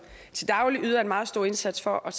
til daglig yder en meget stor indsats for at